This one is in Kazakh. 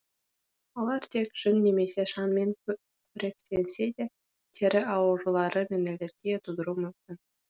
олар тек жүн немесе шаңмен қоректенсе де тері аурулары мен аллергия тудыруы мүмкін